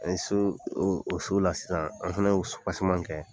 An ye so o so la sisan an fana y'o kɛ.